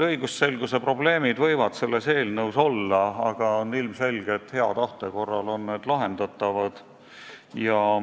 Õigusselguse probleemid võivad selles eelnõus olla, aga ilmselge on, et hea tahte korral on need lahendatavad.